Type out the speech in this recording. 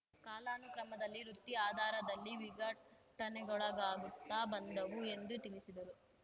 ಕಾಲಾನುಕ್ರಮದಲ್ಲಿ ವೃತ್ತಿ ಆದಾರದಲ್ಲಿ ವಿಘಟನೆಗೊಳಗಾಗುತ್ತಾ ಬಂದವು ಎಂದು ತಿಳಿಸಿದರು